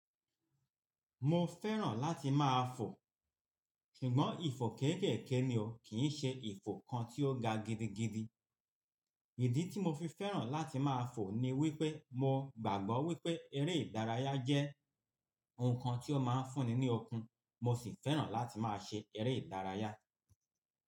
Mo fẹ́ràn láti máa fò, ṣùgbọ́n ìfò kéèkèèké ni o, kì í ṣe ìfò kan tí ó ga gidigidi. Ìdí tí mo fi fẹ́ràn láti máa fò ni wípé mo gbàgbọ́ wípé eré ìdárayá jẹ́ ohun kan tí ó máa ń fún ni ní ọkún, mo sì fẹ́ràn láti máa ṣe eré ìdárayá.